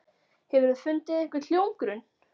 Hefurðu fundið einhvern hljómgrunn?